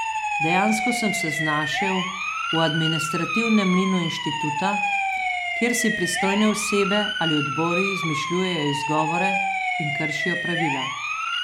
Dejansko sem se znašel v administrativnem mlinu inštituta, kjer si pristojne osebe ali odbori izmišljujejo izgovore in kršijo pravila.